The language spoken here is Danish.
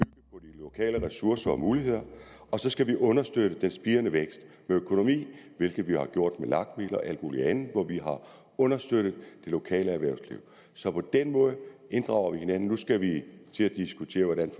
lokale ressourcer og muligheder og så skal vi understøtte den spirende vækst med økonomi hvilket vi jo har gjort med lag midler og alt muligt andet hvor vi har understøttet det lokale erhvervsliv så på den måde inddrager vi hinanden nu skal vi til at diskutere hvordan